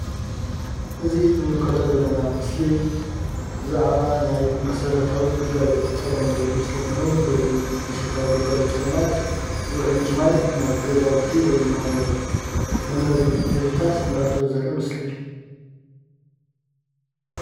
እዚ ንምልከቶ ዘለና ምስሊ ብዛዕባ ናይ መሰረታዊ ግልጋሎት ፀገም ዘርኢ ምስሊ ኮይኑ በዚ መሰረታዊ ግልጋሎት ፀገማት ዉሕጅ ማይ ናብ ገዛዉቲ ወይ ድማ ናብ መንበሪ ህዝብታት እንዳኣተወ ዘርኢ ምስሊ እዩ፡፡